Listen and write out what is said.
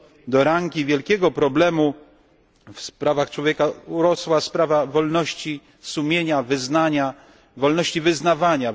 Do rangi wielkiego problemu w sprawach człowieka urosła sprawa wolności sumienia, wyznania.